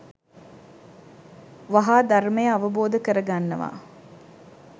වහා ධර්මය අවබෝධ කරගන්නවා.